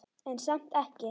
En samt ekki.